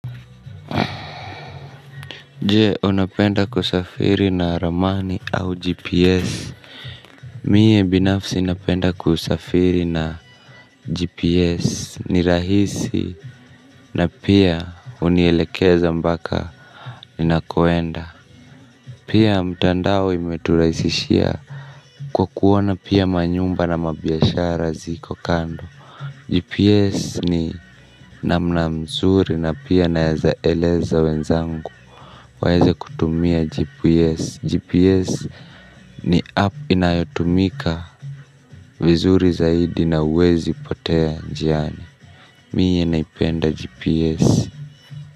Je unapenda kusafiri na ramani au gps mie binafsi inapenda kusafiri na gps ni rahisi na pia unielekeza mbaka ni nakoenda pia mtandao imeturaisishia kwa kuona pia manyumba na mabiashara ziko kando gps ni namnamzuri na pia naezaeleza wenzangu waeze kutumia gps gps ni app inayotumika vizuri zaidi na uwezi potea njiani miye naipenda gps.